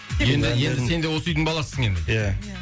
енді енді сен де осы үйдің баласысың енді ия